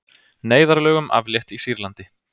Neyðarlögum aflétt í Sýrlandi